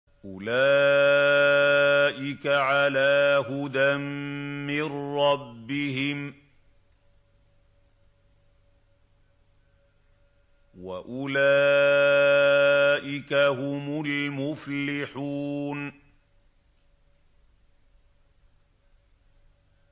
أُولَٰئِكَ عَلَىٰ هُدًى مِّن رَّبِّهِمْ ۖ وَأُولَٰئِكَ هُمُ الْمُفْلِحُونَ